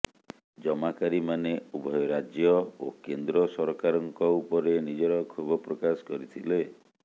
ଜମାକାରୀମାନେ ଉଭୟ ରାଜ୍ୟ ଓ କେନ୍ଦ୍ର ସରକାରଙ୍କ ଉପରେ ନିଜର କ୍ଷୋଭ ପ୍ରକାଶ କରିଥିଲେ